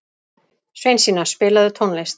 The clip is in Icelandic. Sveinsína, spilaðu tónlist.